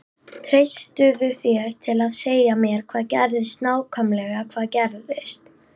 Treystirðu þér til að segja mér hvað gerðist nákvæmlega hvað gerðist?